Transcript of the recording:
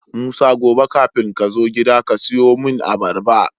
musa gobe kafin kazo gida kasiyo mun abarba